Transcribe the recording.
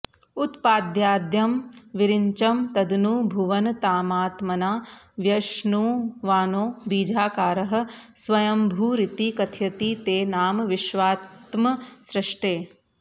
उत्पाद्याद्यं विरिञ्चं तदनु भुवनतामात्मना व्यश्नुवानो बीजाकारः स्वयम्भूरिति कथयति ते नाम विश्वात्मसृष्टेः